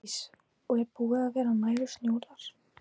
Hjördís: Og er búið að vera nægur snjór þar?